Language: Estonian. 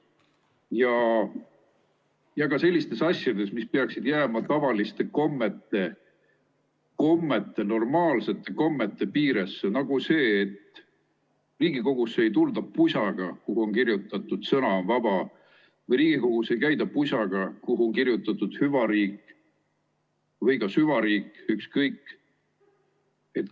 ka sellistes asjades, mis peaksid jääma tavaliste kommete, normaalsete kommete piiresse, nagu see, et Riigikogusse ei tulda pusaga, kuhu on kirjutatud "Sõna on vaba", Riigikogus ei käida pusaga, kuhu on kirjutatud "Hüvariik" või ka "Süvariik", ükskõik.